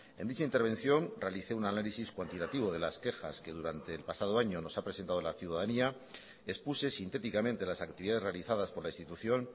en dicha intervención realicé un análisis cuantitativo de las quejas que durante el pasado año nos ha presentado la ciudadanía expuse sintéticamente las actividades realizadas por la institución